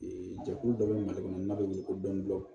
jɛkulu dɔ bɛ mali kɔnɔ n'a bɛ wele ko dɔni dɔni